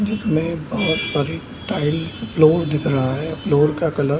जिसमें बहोत सारे टाइल्स फ्लोर दिख रहा है फ्लोर का कलर --